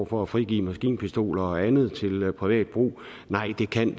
for at frigive maskinpistoler og andet til privat brug nej det kan